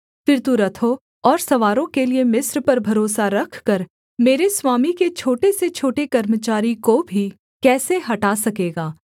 फिर तू रथों और सवारों के लिये मिस्र पर भरोसा रखकर मेरे स्वामी के छोटे से छोटे कर्मचारी को भी कैसे हटा सकेगा